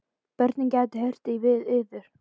Börnin gætu heyrt í yður.